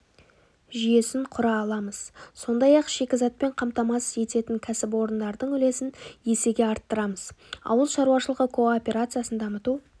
жүйесін құра аламыз сондай-ақ шикізатпен қамтамасыз ететін кәсіпорындардың үлесін есеге арттырамыз ауыл шаруашылығы кооперациясын дамыту